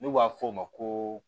N'u b'a f'o ma ko